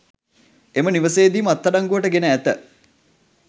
එම නිවසේදීම අත්අඩංගුවට ගෙන ඇත